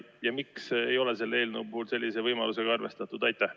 Ja miks ei ole selle eelnõu puhul sellise võimalusega arvestatud?